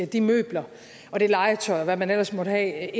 de møbler og det legetøj og hvad man ellers måtte have